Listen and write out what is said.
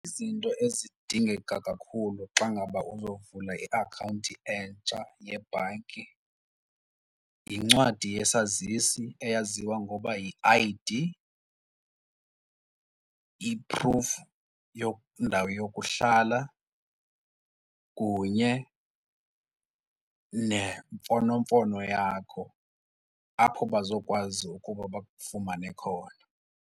Izinto ezidingeka kakhulu xa ngaba uyovula iakhawunti entsha yebhanki yincwadi yesazisi eyaziwa ngokuba yi-I_D, i-proof yendawo yokuhlala kunye nemfonomfono yakho apho bazokwazi ukuba bakufumane khona.